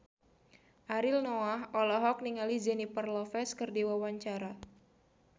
Ariel Noah olohok ningali Jennifer Lopez keur diwawancara